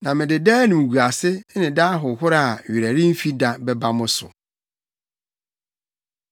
Na mede daa animguase, ne daa ahohora a werɛ remfi da bɛba mo so.”